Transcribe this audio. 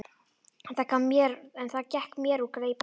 En það gekk mér úr greipum.